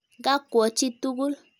Gakwo chi tukul.